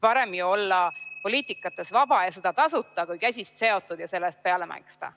Parem ju olla poliitikas vaba ja seda tasuta kui käsist seotud ja selle eest peale maksta.